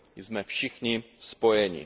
jsme všichni spojeni.